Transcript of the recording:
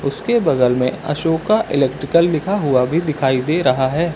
उसके बगल में अशोका इलेक्ट्रिकल लिखा हुआ भी दिखाई दे रहा है।